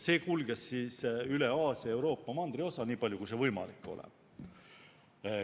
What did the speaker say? See kulges üle Aasia ja Euroopa mandriosa, nii palju kui see võimalik oli.